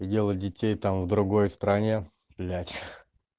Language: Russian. делать детей там в другой стране блять